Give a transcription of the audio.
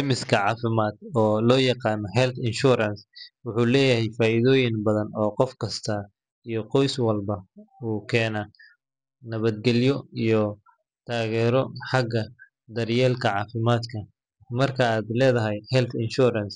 Caymiska caafimaad, oo loo yaqaan health insurance, wuxuu leeyahay faa'iidooyin badan oo qof kasta iyo qoys walba u keena nabadgelyo iyo taageero xagga daryeelka caafimaadka. Marka aad leedahay health insurance,